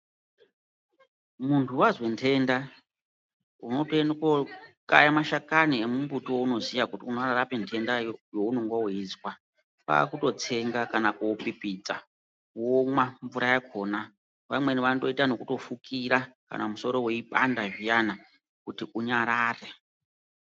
Muntu vazwe ntenda unotoende kokaya mashakani emumbuti wounoziya kuti unorape ntendayo yaunenge weizwa. Kwakutotsenga kana kupipidza womwa mvura yakhona vamweni vanotoita nekutofukira musoro weipanda zviyana kuti unyayare.